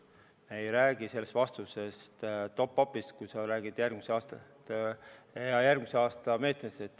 Me ei räägi selles vastuses top-up'ist ega järgmise aasta meetmetest.